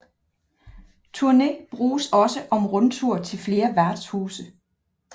Turné bruges også om rundtur til flere værtshuse